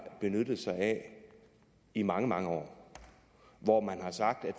benyttet sig af i mange mange år hvor man har sagt at